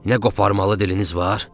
Nə qoparmalı diliniz var?